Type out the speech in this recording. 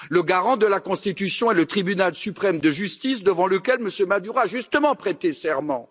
Le garant de la Constitution est le Tribunal suprême de justice, devant lequel M Maduro a justement prêté serment.